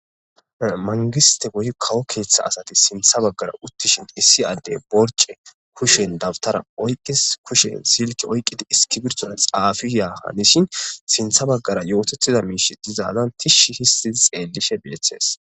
mangiste woyi kawo keeththa asati sintha baggara uttishin issi addey borce kushen dabtara oyqqis kushen silki oyqqidi iski birsora xaafiyahanishin sintha baggara yootetida miishi dizaalan tishshi histidi xeellishe bieththes